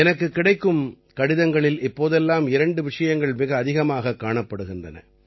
எனக்குக் கிடைக்கும் கடிதங்களில் இப்போதெல்லாம் இரண்டு விஷயங்கள் மிக அதிகம் காணப்படுகின்றன